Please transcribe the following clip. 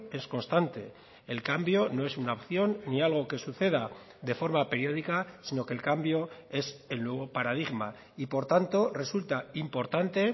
es constante el cambio no es una opción ni algo que suceda de forma periódica sino que el cambio es el nuevo paradigma y por tanto resulta importante